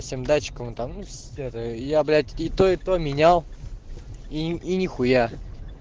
всем датчик я блять это это менял и нехуя